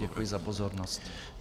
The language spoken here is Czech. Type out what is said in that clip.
Děkuji za pozornost.